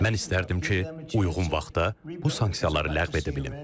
Mən istərdim ki, uyğun vaxtda bu sanksiyaları ləğv edə bilim.